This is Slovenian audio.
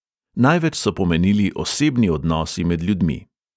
Največ so pomenili osebni odnosi med ljudmi.